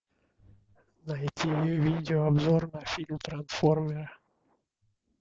найти видео обзор на фильм трансформеры